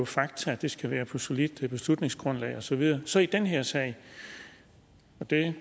fakta det skal være på et solidt beslutningsgrundlag og så videre så i den her sag det